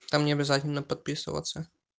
там необязательно подписываться